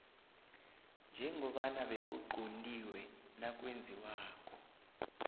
njengoba bekuquntiwe nakwenziwako